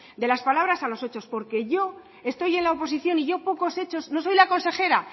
de las palabras a los hechos porque yo estoy en la oposición y yo pocos hechos no soy la consejera